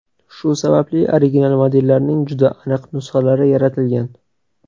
Shu sababli original modellarning juda aniq nusxalari yaratilgan.